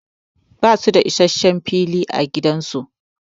Ba su da issashen fili a gidan su.